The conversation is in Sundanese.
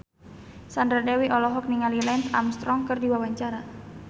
Sandra Dewi olohok ningali Lance Armstrong keur diwawancara